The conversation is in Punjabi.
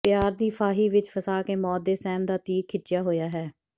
ਪਿਆਰ ਦੀ ਫਾਹੀ ਵਿਚ ਫਸਾ ਕੇ ਮੌਤ ਦੇ ਸਹਿਮ ਦਾ ਤੀਰ ਖਿੱਚਿਆ ਹੋਇਆ ਹੈ